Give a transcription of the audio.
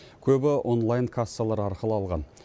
көбі онлайн кассалар арқылы алған